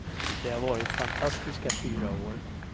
Det har varit fantastiska fyra år.